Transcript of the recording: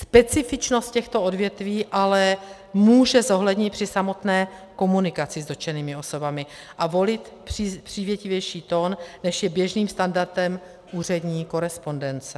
Specifičnost těchto odvětví ale může zohlednit při samotné komunikaci s dotčenými osobami a volit přívětivější tón, než je běžným standardem úřední korespondence.